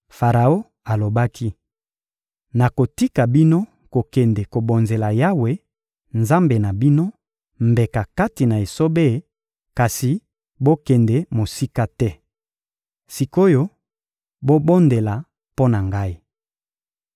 Faraon alobaki: — Nakotika bino kokende kobonzela Yawe, Nzambe na bino, mbeka kati na esobe; kasi bokende mosika te. Sik’oyo, bobondela mpo na ngai!